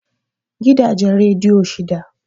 Gidajen rediyo shida